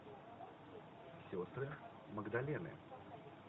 сестры магдалины